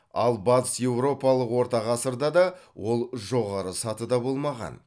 ал батыс еуропалық орта ғасырда да ол жоғары сатыда болмаған